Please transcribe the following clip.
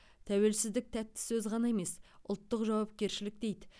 тәуелсіздік тәтті сөз ғана емес ұлттық жауапкершілік дейді